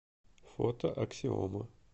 фото аксиома